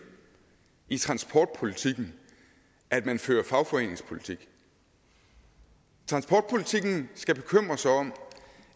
i transportpolitikken at man fører fagforeningspolitik transportpolitikken skal bekymre sig om